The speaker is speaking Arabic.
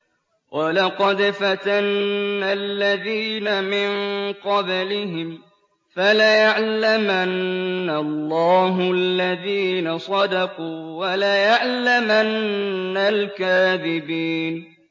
وَلَقَدْ فَتَنَّا الَّذِينَ مِن قَبْلِهِمْ ۖ فَلَيَعْلَمَنَّ اللَّهُ الَّذِينَ صَدَقُوا وَلَيَعْلَمَنَّ الْكَاذِبِينَ